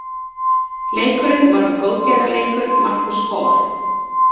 Leikurinn var góðgerðarleikur Marcus Hall.